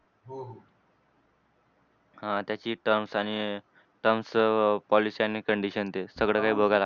हां त्याची terms आणि terms, policy आणि condition ते सगळं काय बघायला लागते.